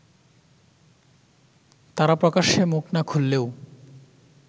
তারা প্রকাশ্যে মুখ না খুললেও